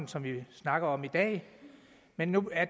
som vi snakker om i dag men nu er